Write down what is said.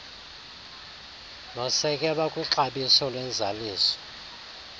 nosekelwe kwixabiso lwenzaliso